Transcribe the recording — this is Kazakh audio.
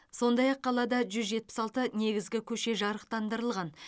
сондай ақ қалада жүз жетпіс алты негізгі көше жарықтандырылған